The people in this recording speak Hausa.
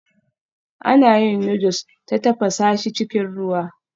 Ana yin noodles ta tafasa shi cikin ruwa